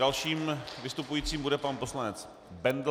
Dalším vystupujícím bude pan poslanec Bendl.